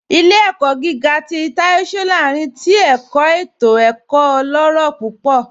Ilẹ̀-ẹ̀kọ̀ gígà tì Táì Sọ́lárìn tì ẹ̀kọ̀ ètò ẹ̀kọ̀ ọlọ́rọ̀ púpọ̀